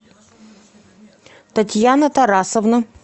татьяна тарасовна